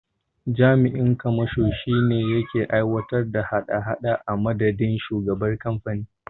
Jami'in kamashon shine yake aiwatar da hada hada a madadin shugaban kamfanin.